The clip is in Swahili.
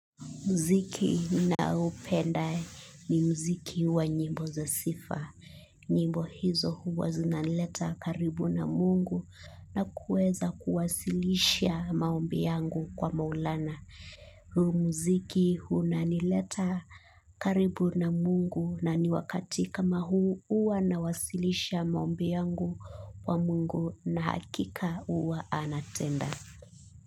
Mziki ninaopenda ni mziki wa nyimbo za sifa. Nyimbo hizo huwa zinanileta karibu na mungu na kuweza kuwasilisha maombi yangu kwa maulana. Huu muziki huwa na nileta karibu na mungu na ni wakati kama huu uwa nawasilisha maombi yangu kwa mungu na hakika huwa anatenda.